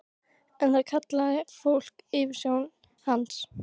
En það kallaði fólk yfirsjón hans.